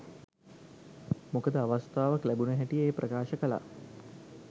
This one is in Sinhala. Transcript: මොකද අවස්ථාවක් ලැබුණ හැටියෙ එය ප්‍රකාශ කළා.